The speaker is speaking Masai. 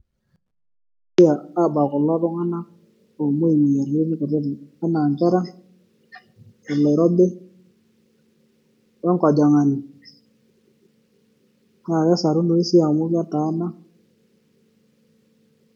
Iltamoyia Aabak kulo Tung'anak oomoi emoyian enaa inkera oloirobi enkojang'ani naa kesarunoyu sii amu ketaana.